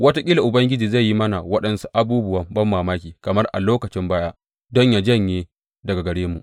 Wataƙila Ubangiji zai yi mana waɗansu abubuwa banmamaki kamar a lokacin baya don yă janye daga gare mu.